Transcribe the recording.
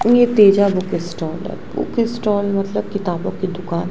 ये Teja book stall है book stall मतलब किताबों की दुकान।